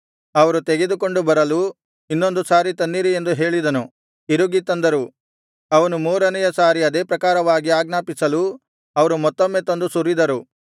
ಅವರು ತೆಗೆದುಕೊಂಡು ಬರಲು ಇನ್ನೊಂದು ಸಾರಿ ತನ್ನಿರಿ ಎಂದು ಹೇಳಿದನು ತಿರುಗಿ ತಂದರು ಅವನು ಮೂರನೆಯ ಸಾರಿ ಅದೇ ಪ್ರಕಾರವಾಗಿ ಆಜ್ಞಾಪಿಸಿಲು ಅವರು ಮತ್ತೊಮ್ಮೆ ತಂದು ಸುರಿದರು